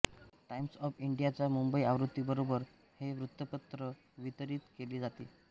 Times of इंडियाच्या मुंबई आवृत्तीबरोबर हे वृत्तपत्र वितरीत केले जाते